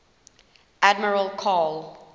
admiral karl